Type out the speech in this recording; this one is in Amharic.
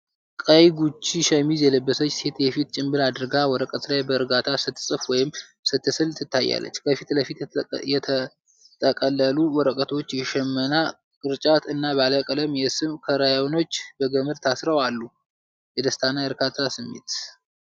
ቀይ ጉቺ ሸሚዝ የለበሰች ሴት የፊት ጭንብል አድርጋ፣ ወረቀት ላይ በእርጋታ ስትጽፍ ወይም ስትስል ትታያለች። ከፊት ለፊት የተጠቀለሉ ወረቀቶች፣ የሽመና ቅርጫት እና ባለ ቀለም የሰም ክራዮኖች በገመድ ታስረው አሉ። የደስታና የእርካታ ስሜት!